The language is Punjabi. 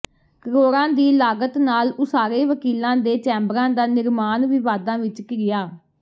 ਕਰੋੜਾਂ ਦੀ ਲਾਗਤ ਨਾਲ ਉਸਾਰੇ ਵਕੀਲਾਂ ਦੇ ਚੈਂਬਰਾਂ ਦਾ ਨਿਰਮਾਣ ਵਿਵਾਦਾਂ ਵਿੱਚ ਘਿਰਿਆ